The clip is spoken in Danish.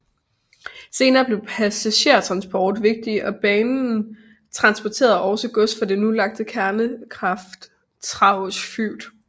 Senere blev passagertransport vigtigt og banen transporterede også gods for det nu nedlagte kernekraftværk Trawsfynydd